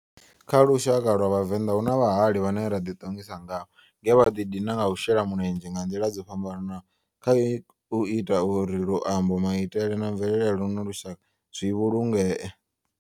Kha lushaka lwa Vhavenda, hu na vhahali vhane ra di tongisa ngavho nge vha di dina nga u shela mulenzhe nga ndila dzo fhambananaho khau ita uri luambo, maitele na mvelele ya luno lushaka zwi vhulungee.